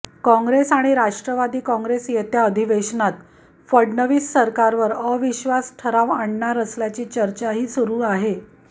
काँग्रेस आणि राष्ट्रवादी काँग्रेस येत्या अधिवेशनात फडणवीस सरकारवर अविश्वास ठराव आणणार असल्याची चर्चाही सुरु आहे